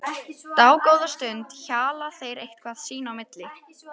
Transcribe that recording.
Dágóða stund hjala þeir eitthvað sín á milli.